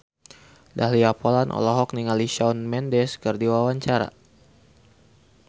Dahlia Poland olohok ningali Shawn Mendes keur diwawancara